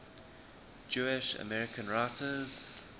jewish american writers